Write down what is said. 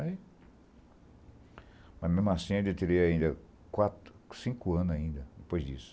Aí... Mas, mesmo assim, ele teria ainda quatro, cinco anos ainda depois disso.